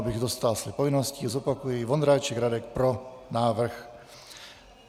Abych dostál své povinnosti, zopakuji: Vondráček Radek: Pro návrh.